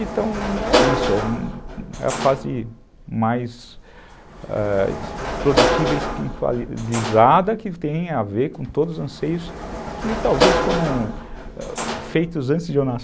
Então é isso, é a fase mais ãh produtiva e espiritualizada que tem a ver com todos os anseios que talvez foram feitos antes de eu nascer.